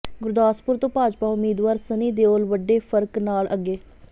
ਗੁਰਦਾਸਪੁਰ ਤੋਂ ਭਾਜਪਾ ਉਮੀਦਵਾਰ ਸੰਨੀ ਦਿਉਲ ਵੱਡੇ ਫ਼ਰਕ ਨਾਲ ਅੱਗੇ